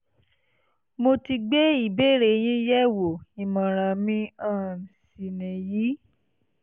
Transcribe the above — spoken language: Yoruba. mo ti gbé ìbéèrè yín yẹ̀wò ìmọ̀ràn mi um sì nìyí